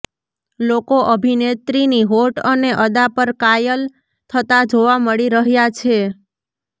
લોકો અભિનેત્રીની હોટ અને અદા પર કાયલ થતાં જોવા મળી રહ્યા છે